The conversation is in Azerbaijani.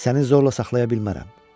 Səni zorla saxlaya bilmərəm.